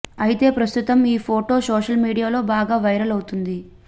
అయితే ప్రస్తుతం ఈ ఫోటో సోషల్ మీడియాలో బాగా వైరల్ అవుతుంది